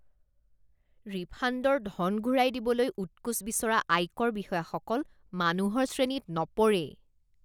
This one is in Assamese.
ৰিফাণ্ডৰ ধন ঘূৰাই দিবলৈ উৎকোচ বিচৰা আয়কৰ বিষয়াসকল মানুহৰ শ্ৰেণীত নপৰেই৷